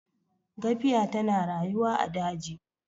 gafiya tana rayuwa a daji